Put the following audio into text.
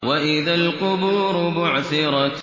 وَإِذَا الْقُبُورُ بُعْثِرَتْ